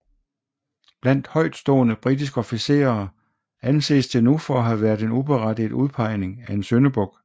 Blandt højtstående britiske officerer anses det nu for at have været en uberettiget udpegning af en syndebuk